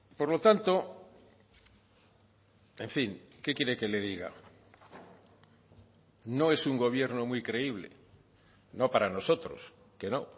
por lo tanto en fin qué quiere que le diga no es un gobierno muy creíble no para nosotros que no